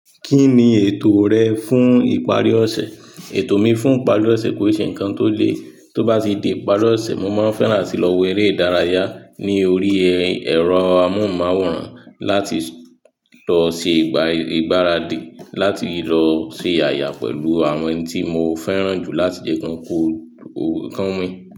Kí ni ètò rẹ fún ìparí ọ̀sẹ̀? Ètò mi fún ìparí ọ̀sẹ̀ kò ṣe nǹkan tó le. Tó bá ti di ìparí ọ̀sẹ̀, mo máa ń fẹ́ràn a tí í lọ wo eré ìdárayá ní orí ẹ̀rọ amóhùnmáwòrán láti lọ ṣe ìgbáradì, láti lọ ṣe àyà pẹ̀lú àwọn ẹni tí mo fẹ́ràn jù láti dẹkùn kọ́ọ̀rọ̀ kán wín.